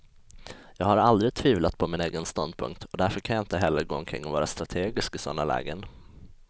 Jag har aldrig tvivlat på min egen ståndpunkt, och därför kan jag inte heller gå omkring och vara strategisk i sådana lägen.